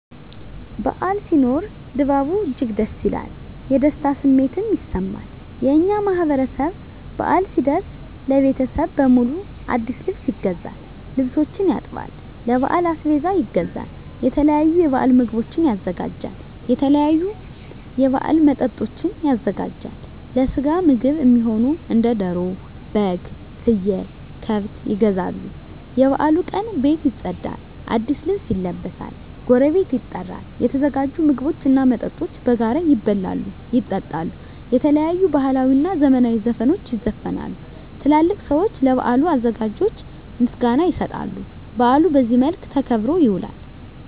በዓል ሲኖር ድባቡ እጅግ ደስ ይላል። የደስታ ስሜትም ይሰማል። የእኛ ማህበረሰብ በአል ሲደርስ ለቤተሰብ በሙሉ አዲስ ልብስ ይገዛል፤ ልብሶችን ያጥባል፤ ለበዓል አስቤዛ ይገዛል፤ የተለያዩ የበዓል ምግቦችን ያዘጋጃል፤ የተለያዩ የበዓል መጠጦችን ያዘጋጃል፤ ለስጋ ምግብ እሚሆኑ እንደ ደሮ፤ በግ፤ ፍየል፤ ከብት ይገዛሉ፤ የበዓሉ ቀን ቤት ይፀዳል፤ አዲስ ልብስ ይለበሳል፤ ጎረቤት ይጠራል፤ የተዘጋጁ ምግቦች እና መጠጦች በጋራ ይበላሉ፤ ይጠጣሉ፤ የተለያዩ ባህላዊ እና ዘመናዊ ዘፈኖች ይዘፈናሉ፤ ትላልቅ ሰዊች ለበዓሉ አዘጋጆች ምስጋና ይሰጣሉ፤ በአሉ በዚህ መልክ ተከብሮ ይውላል።